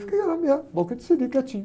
Fiquei lá na minha, boca de siri, quietinho.